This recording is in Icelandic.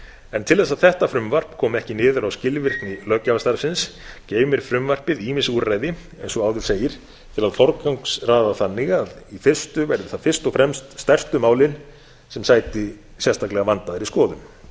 en til þess að þetta frumvarp komi ekki niður á skilvirkni löggjafarstarfsins geymir frumvarpið ýmis úrræði eins og áður segir til að forgangsraða þannig að í fyrstu verði það fyrst og fremst stærstu málin sem sæti sérstaklega vandaðri skoðun